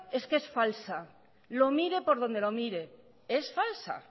es que es falsa lo mire por donde lo mire es falsa